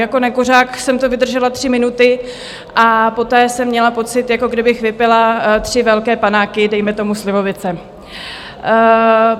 Jako nekuřák jsem to vydržela tři minuty a poté jsem měla pocit, jako kdybych vypila tři velké panáky, dejme tomu slivovice.